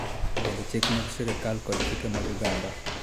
To bende chik mag sirkal kod chike mag oganda.